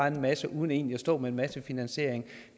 en masse uden egentlig at stå med med finansieringen